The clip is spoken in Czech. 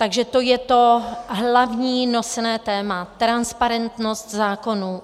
Takže to je to hlavní nosné téma - transparentnost zákonů.